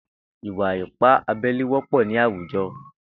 Ìwà ìpá àbẹlé wọpọ ni àwújọ